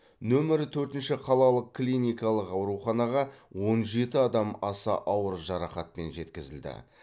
нөмірі төртінші қалалық клиникалық ауруханаға он жеті адам аса ауыр жарақатпен жеткізілді